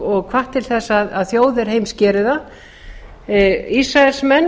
og hvatt til þess að þjóðir heims geri það ísraelsmenn